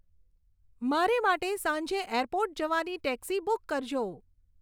મારે માટે સાંજે એરપોર્ટ જવાની ટેક્સી બુક કરજો